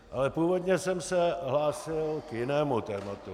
Ale původně jsem se hlásil k jinému tématu.